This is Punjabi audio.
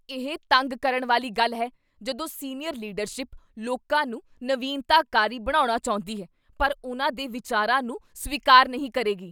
ਇਹ ਤੰਗ ਕਰਨ ਵਾਲੀ ਗੱਲ ਹੈ ਜਦੋਂ ਸੀਨੀਅਰ ਲੀਡਰਸ਼ਿਪ ਲੋਕਾਂ ਨੂੰ ਨਵੀਨਤਾਕਾਰੀ ਬਣਾਉਣਾ ਚਾਹੁੰਦੀ ਹੈ ਪਰ ਉਨ੍ਹਾਂ ਦੇ ਵਿਚਾਰਾਂ ਨੂੰ ਸਵੀਕਾਰ ਨਹੀਂ ਕਰੇਗੀ।